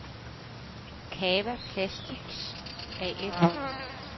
Cava Plastics A/S